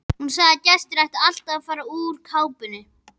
Hún sagði að gestir ættu alltaf að fara úr kápunni.